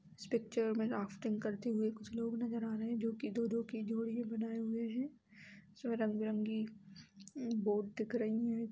इस पिक्चर में राफ्टिंग करते हुए कुछ लोग नजर आ रहे है जोकि दो-दो की जोड़ी बनाए हुए है सब रंग बिरंगी बोट दिख रही है।